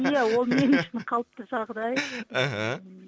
иә ол мен үшін қалыпты жағдай іхі